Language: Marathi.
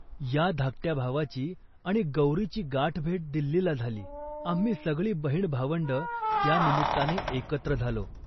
या धाकट्या भावाची आणि गौरीची गाठभेट दिल्लीला झाली. आम्ही सगळी बहिणभावंडं त्या निमित्ताने एकत्र झालो